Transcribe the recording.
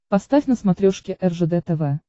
поставь на смотрешке ржд тв